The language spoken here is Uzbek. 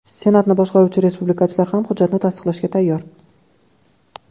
Senatni boshqaruvchi respublikachilar ham hujjatni tasdiqlashga tayyor.